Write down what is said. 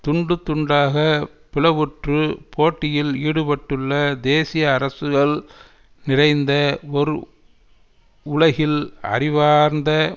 துண்டு துண்டாகப் பிளவுற்று போட்டியில் ஈடுபட்டுள்ள தேசியஅரசுகள் நிறைந்த ஒரு உலகில் அறிவார்ந்த